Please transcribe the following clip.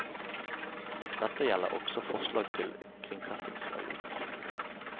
Dette gjelder også forslag til kringkastingsavgift.